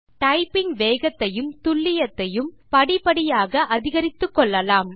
typing வேகத்தையும் துல்லியத்தையும் படிப்படியாக அதிகரித்துக்கொள்ளலாம்